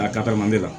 A katari mandi la